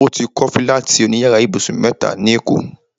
O ti kọ́ fílátì òní yàrá ibùsùn mẹ́ta ní èkó